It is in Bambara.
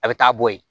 A bɛ taa bɔ yen